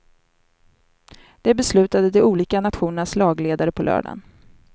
Det beslutade de olika nationernas lagledare på lördagen.